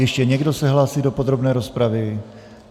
Ještě někdo se hlásí do podrobné rozpravy?